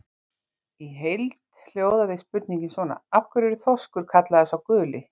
Í heild hljóðaði spurningin svona: Af hverju er þorskur kallaður sá guli?